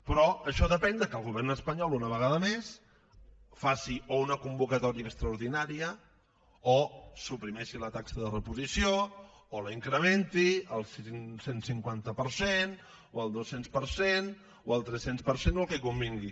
però això depèn de que el govern espanyol una vegada més faci o una convocatòria extraordinària o suprimeixi la taxa de reposició o la incrementi al cent i cinquanta per cent o al dos cents per cent o al tres cents per cent o al que convingui